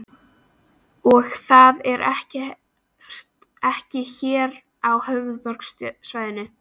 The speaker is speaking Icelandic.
Og það er ekki hér á höfuðborgarsvæðinu?